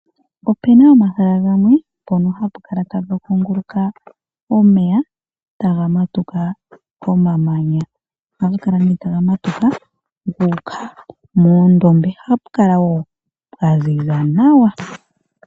Opena omahala ngamwe pono hapukala tapu kunguluka omeya tagamatuka komamanya, oha ga kala ne tagamatuka guka moondombe ohapu kala wo pwanzinza nawa.